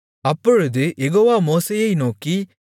அப்பொழுது யெகோவா மோசேயை நோக்கி